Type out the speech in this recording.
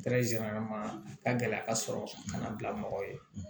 ka gɛlɛya sɔrɔ ka na bila mɔgɔw ye